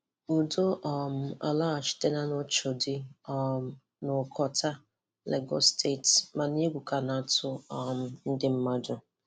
Ụdọ um alọghachitana n’Oshodi um na Okota, Lagos steetị, mana egwụ ka na-atụ um ndị mmadụ.